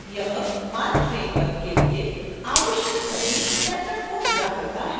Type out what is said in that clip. यह marc framework के लिए आवश्यक सभी setup को पूरा करता है